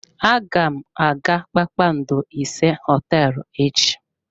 Aga m aga kpakpando ise hoteelu echi.